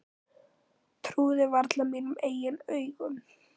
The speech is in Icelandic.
Trúði varla mínum eigin augum.